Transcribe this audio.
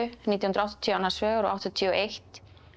nítján hundruð og áttatíu annars vegar og áttatíu og eitt